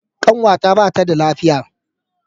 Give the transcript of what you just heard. Ƙanwata ba ta da lafiya